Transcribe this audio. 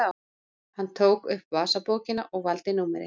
Hann tók upp vasabókina og valdi númerið.